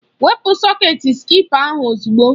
Kwụpụ sọketi spịka ahụ ozugbo!